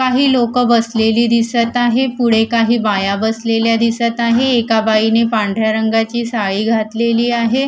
काही लोकं बसलेली दिसतं आहे. पुढे काही बाया बसलेल्या दिसतं आहे. एका बाईने पांढऱ्या रंगाची साडी घातलेली आहे.